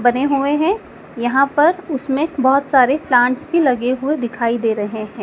बने हुए हैं यहां पर उसमें एक बहुत सारे प्लांट्स भी लगे हुए दिखाई दे रहे हैं।